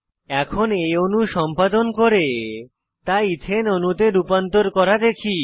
এখন এই অণু সম্পাদন করে তা এথানে ইথেন অণুতে রূপান্তর করা দেখি